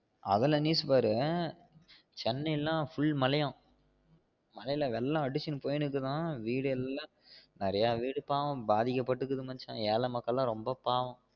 அதுல news பாரு சென்னை யலா full மழை யாம் மழை ல வெள்ளம் அடிசுனு போய்னுக்குதாம் வீடு எல்லாம் நெறைய வீடு பாவம் பாதிக்கப்படுது மச்சான் ஏல மக்கள் லாம் ரொம்ப பாவம்